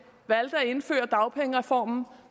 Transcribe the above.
valgte at indføre dagpengereformen